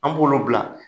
An b'olu bila